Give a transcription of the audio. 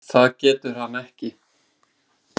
Það getur hann ekki.